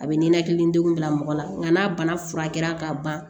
A bɛ ninakilidenw bila mɔgɔ la nka n'a bana furakɛla ka ban